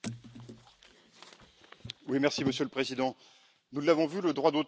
Monsieur le Président, nous l'avons vu, le droit d'auteur est un sujet qui déchaîne les passions.